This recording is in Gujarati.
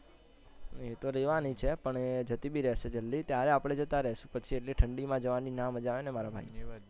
એતો રેહવાની છે પણ એ જતી બી રેહશે જલ્દી ત્યારે આપણે જતા રેહ્શું, પછી આટલી ઠંડી માં જવાની ના મજા આવેને મારા ભાઈ.